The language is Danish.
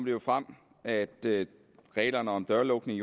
jo frem at reglerne om dørlukning